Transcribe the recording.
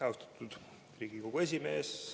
Austatud Riigikogu esimees!